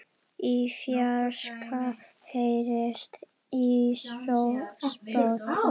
Í fjarska heyrist í spóa.